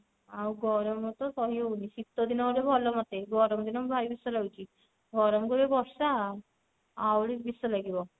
ଆଉ ଗରମ ତ ସହି ହଉନି ଶିତ ଦିନ ହେଲେ ଭଲ ମୋତେ ଗରମ ଦିନ ଭାରି ବିଷ ଲାଗୁଛି ଗରମ କୁ ଏ ବର୍ଷା ଆହୁରି ବିଷ ଲାଗିବ